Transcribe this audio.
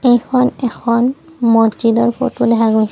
এইখন এখন মছজিদৰ ফটো দেখা গৈছে।